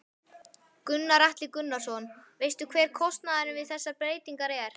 Gunnar Atli Gunnarsson: Veistu hver kostnaðurinn við þessar breytingar er?